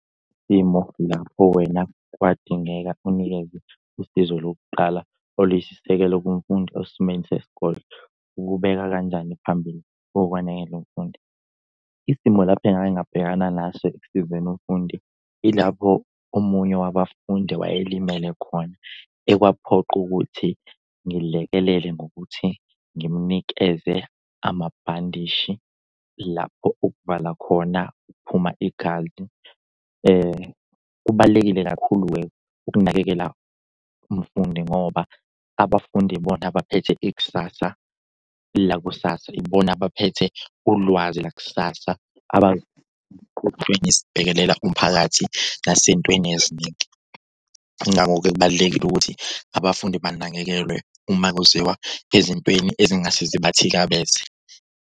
Isimo lapho wena kwadingeka unikeze usizo lokuqala oluyisisekelo kumfundi osesimeni sesikole. Ukubeka kanjani phambili ukwanakekela umfundi? Isimo lapho engake ngabhekana naso ekusizeni umfundi ilapho omunye wabafundi wayelimele khona ekwaphoqa ukuthi ngilekelele ngokuthi ngimunikeze amabhandishi lapho ukuvala khona ukuphuma igazi. Kubalulekile kakhulu-ke ukunakekela umfundi ngoba abafundi ibona abaphethe ikusasa lakusasa. Ibona abaphethe ulwazi lakusasa sibhekelela umphakathi nasentweni eziningi. Ngakho-ke kubalulekile ukuthi abafundi banakekelwe uma kuziwa ezintweni ezingase zibathikabeze.